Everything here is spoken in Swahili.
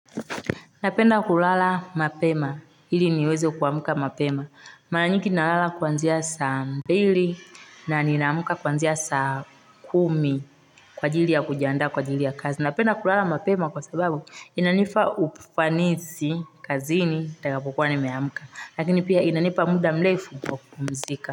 Napenda kulala mapema hili niweze kuamuka mapema mara nyingi nalala kwanzia saa mbili na ninaamuka kuanzia saa kumi kwa ajili ya kujianda kwa ajili ya kazi napenda kulala mapema kwa sababu inanipa ufanishi kazi ni taya yakwa ni meamuka lakini pia inanipa muda mlefu kwa kupumzika.